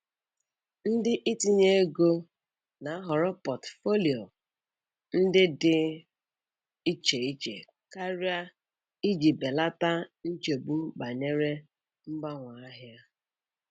Ndị itinye ego na-ahọrọ portfolio ndị dị iche iche karịa iji belata nchegbu banyere mgbanwe ahịa.